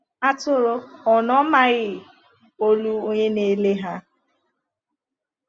Atụrụ ò na-amaghị olu onye na-ele ha?